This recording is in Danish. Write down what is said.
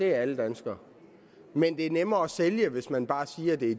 alle danskere men det er nemmere at sælge hvis man bare siger at det